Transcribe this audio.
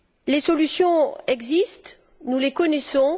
Les solutions existent, nous les connaissons.